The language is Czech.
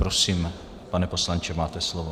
Prosím, pane poslanče, máte slovo.